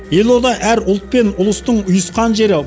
елорда әр ұлт пен ұлыстың ұйысқан жері